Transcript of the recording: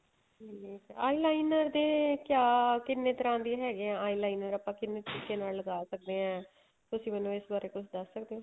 ਹਮ ਠੀਕ ਏ eyeliner ਦੇ ਕਿਆ ਕਿੰਨੇ ਤਰ੍ਹਾਂ ਦੇ ਹੈਗੇ ਏ eyeliner ਆਪਾਂ ਕਿੰਨੇ ਤਰੀਕੇ ਨਾਲ ਲੱਗਾ ਸਕਦੇ ਆ ਤੁਸੀਂ ਮੈਨੂੰ ਇਸ ਬਾਰੇ ਕੁੱਝ ਦੱਸ ਸਕਦੇ ਓ